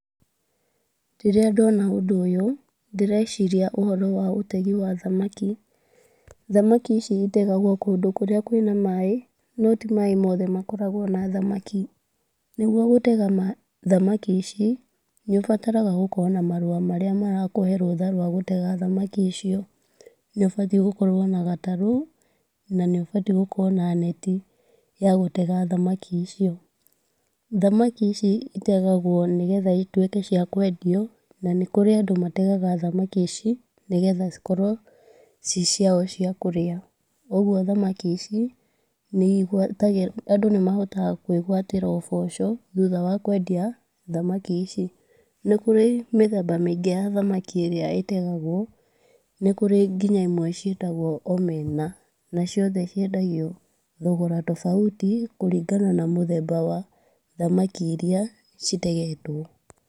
Rĩrĩa ndona ũndũ ũyũ ndĩreciria ũhoro wa ũtegi wa thamaki, thamaki ici itegagwo kũndũ kũrĩa kwĩna maĩ no ti maĩ mothe makoragwo na thamaki. Nĩguo gũtega thamaki ici nĩũbataraga gũkorwo na marũa marĩa marakũhe rũtha rwa gũtega thamaki icio, nĩũbatiĩ gũkorwo na gatarũ na nĩũbatiĩ gũkorwo na neti ya gũtega thamaki icio, thamaki ici itegagwo nĩgetha ituĩke cia kwendio na nĩ kũrĩ andũ mategaga thamaki ici nĩgetha cikorwo ci ciao cia kũrĩa. Koguo thamaki ici nĩigwata andũ nĩmahotaga kwĩgwatĩra ũboco thutha wa kwendia thamaki ici. Nĩ kũrĩ mĩthemba mĩingĩ ya thamaki ĩrĩa ĩtegagwo, nĩkũrĩ nginya imwe ciĩtagwo omena na ciothe ciendagio thogora tofauti kũringana na mũthemba wa thamaki iria citegetwo.